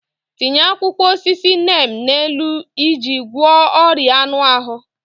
Tinye akwụkwọ osisi neem n'elu iji gwọọ ọrịa anụ ahụ.